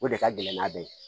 O de ka gɛlɛn n'a bɛɛ ye